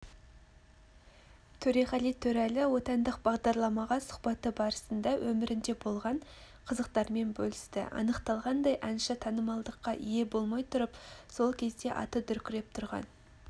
төреғали төреәлі отандық бағдарламаға сұхбаты барысында өмірінде болған қызықтарымен бөлісті анықталғандай әнші танымалдылыққа ие болмай тұрып сол кезде аты дүркіреп тұрған